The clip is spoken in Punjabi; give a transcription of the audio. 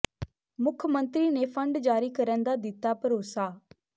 ਮੁੱਖ ਮੰਤਰੀ ਨੇ ਫੰਡ ਜਾਰੀ ਕਰਨ ਦਾ ਦਿੱਤਾ ਭਰੋਸਾ